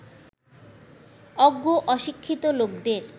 অজ্ঞ অশিক্ষিত লোকদের